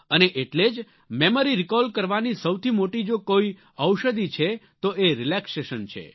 અને એટલે જ મેમરી રિકોલ કરવાની સૌથી મોટી જો કોઈ ઔષધિ છે તો એ રિલેક્સેશન છે